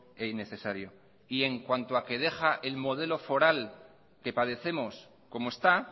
e innecesario y en cuanto a que deja el modelo foral que padecemos como está